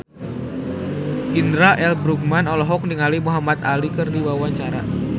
Indra L. Bruggman olohok ningali Muhamad Ali keur diwawancara